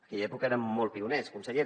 aquella època érem molt pioners consellera